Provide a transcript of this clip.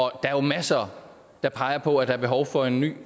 er jo masser der peger på at der er behov for en ny